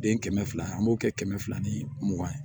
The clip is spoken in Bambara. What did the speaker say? Den kɛmɛ fila an b'o kɛ kɛmɛ fila ni mugan ye